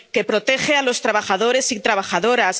que protege a los trabajadores y trabajadoras